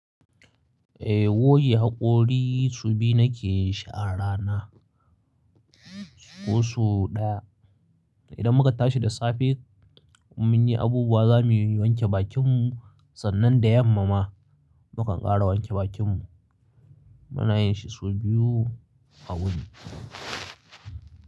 Eh, goge haƙori su biyu nake yin shi a rana. Ko so ɗaya. Idan muka tashi da safe in munyi abubuwa zamuyi wanke bakin mu sannan da yamma ma mukan ƙara wanke bakin mu. Muna yin shi su biyu a wuni.